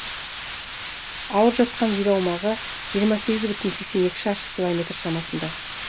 алып жатқан жер аумағы жиырма сегіз бүтін сексен екі шаршы километр шамасында